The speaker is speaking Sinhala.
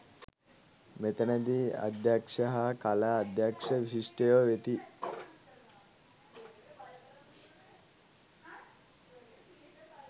මෙතැනදී අධ්‍යක්ෂ හා කලා අධ්‍යක්ෂ විශිෂ්ටයෝ වෙති.